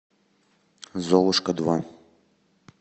золушка два